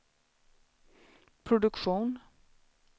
produktion